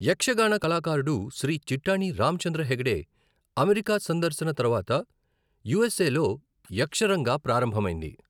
యక్షగాన కళాకారుడు శ్రీ చిట్టాణి రామచంద్ర హెగ్డే అమెరికా సందర్శన తర్వాత యూఎస్ఏలో యక్షరంగా ప్రారంభమైంది.